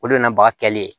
O de nana baga kɛlen